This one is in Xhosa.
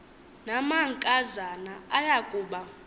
namankazana aya kuba